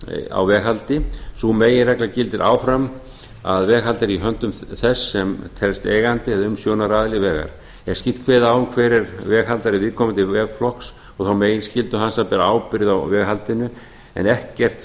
á veghaldi sú meginregla gildir áfram að veghald er í höndum þess sem telst eigandi eða umsjónaraðili vegar er skýrt kveðið á um hver er veghaldari viðkomandi vegflokks og þá meginskyldu hans að bera ábyrgð á veghaldinu en ekkert